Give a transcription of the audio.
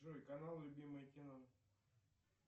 джой канал любимое кино